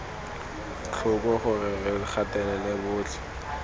tlhoko gore re gatelela botlhe